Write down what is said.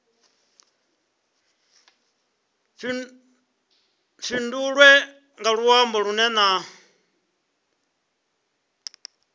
fhindulwe nga luambo lunwe na